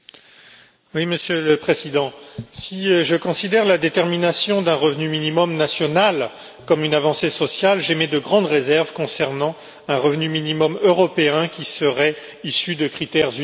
Monsieur le Président, si je considère la détermination d'un revenu minimum national comme une avancée sociale, j'émets de grandes réserves concernant un revenu minimum européen qui serait issu de critères uniformes.